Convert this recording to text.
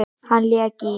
Hann lék í